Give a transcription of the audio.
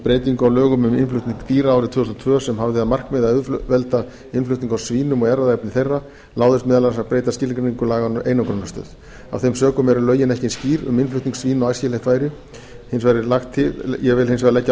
breytingu á lögum um innflutning dýra árið tvö þúsund og tvö sem hafði að markmiði að auðvelda innflutning á svínum og erfðaefni þeirra láðist meðal annars að breyta skilgreiningu laganna á einangrunarstöð af þeim sökum eru lögin ekki eins skýr um innflutning svína og æskilegt væri ég vil hins vegar leggja